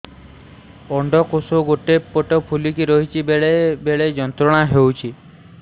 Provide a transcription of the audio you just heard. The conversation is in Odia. ଅଣ୍ଡକୋଷ ଗୋଟେ ପଟ ଫୁଲିକି ରହଛି ବେଳେ ବେଳେ ଯନ୍ତ୍ରଣା ହେଉଛି